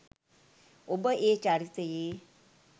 ඔබ ඒ චරිතයේ